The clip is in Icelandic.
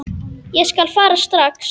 Ég skal fara strax.